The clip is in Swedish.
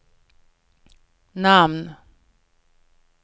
namn